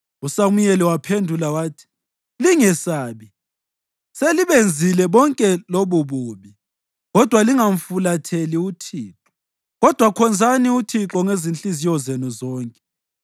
USamuyeli waphendula wathi, “Lingesabi. Selibenzile bonke lobububi; kodwa lingamfulatheli uThixo; kodwa khonzani uThixo ngezinhliziyo zenu zonke.